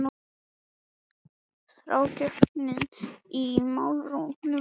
Þrákelknin í málrómnum hafði nú vikið fyrir undrun.